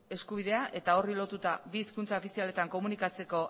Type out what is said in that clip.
eskubidea eta horri lotuta bi hizkuntza ofizialetan komunikatzeko